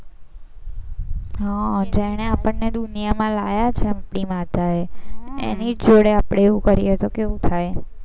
હા જેને આપણને દુનિયામાં લાયા છે આપણી માતાએ એની જોડે આપણે એવું કરીએ તો કેવું થાય.